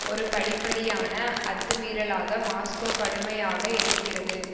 ஒரு படிப்படியான அத்துமீறலாக மாஸ்கோ கடுமையாக எதிர்க்கிறது